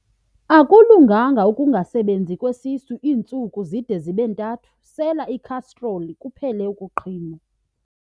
Akulunganga ukungasebenzi kwesisu iintsuku zide zibe ntathu, sela ikhastroli kuphele ukuqhinwa.